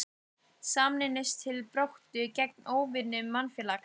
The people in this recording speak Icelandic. Sameinumst til baráttu gegn óvinum mannfélagsins.